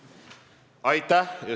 Aitäh!